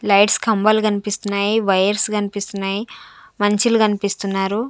Lights కంబాలు కనిపిస్తున్నాయి wires కనిపిస్తున్నాయి మనుషులు కనిపిస్తున్నారు.